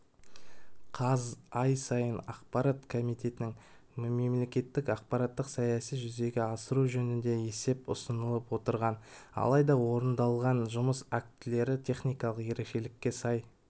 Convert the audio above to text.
қаз ай сайын ақпарат комитетіне мемлекеттік ақпараттық саясатты жүзеге асыру жөнінде есеп ұсынып отырған алайда орындалған жұмыс актілері техникалық ерекшелікке сай